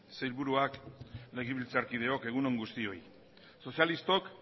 sailburuak legebiltzarkideok egun on guztioi sozialistok